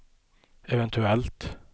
eventuellt